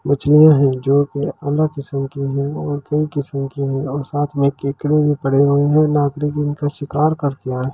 मछलियां हैं जो के अलग किस्म की हैं और कहीं किस्मों की हैं और साथ मैं केकड़े भी पड़े हुए हैं नागरिक उनका शिकार करके आए हैं।